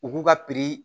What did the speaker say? U k'u ka